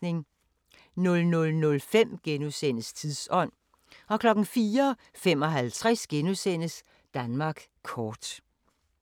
00:05: Tidsånd * 04:55: Danmark kort *